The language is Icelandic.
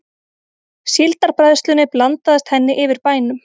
Síldarbræðslunni blandaðist henni yfir bænum.